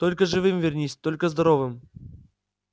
только живым вернись только здоровым